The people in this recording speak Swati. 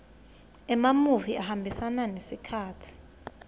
emamuvi ahambisa sikhatsi